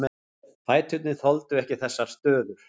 Fæturnir þoldu ekki þessar stöður.